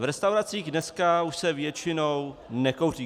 V restauracích dneska už se většinou nekouří.